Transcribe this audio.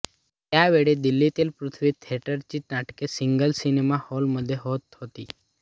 त्यावेळी दिल्लीतील पृथ्वी थिएटरची नाटके रीगल सिनेमा हॉलमध्ये होत होती